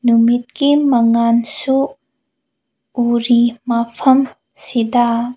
ꯅꯨꯃꯤꯠꯀꯤ ꯃꯉꯥꯜꯁꯨ ꯎꯔꯤ ꯃꯐꯝ ꯁꯤꯗ꯫